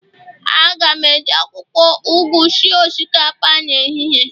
A ga m eji akwukwo ugu sie osikapa n'ehihie